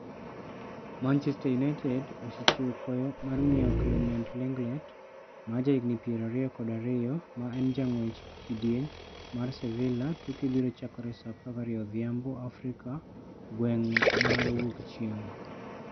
Manchester United osechiwo kwayo mar ng'iewo Clement Lenglet ma jahigni 22, ma en jang'wech e kidieny mar Sevilla tuke biro chakore sa 12 odhiambo Afrika gweng'mar wuok chieng'.